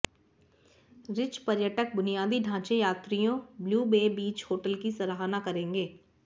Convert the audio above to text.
rich पर्यटक बुनियादी ढांचे यात्रियों ब्लू बे बीच होटल की सराहना करेंगे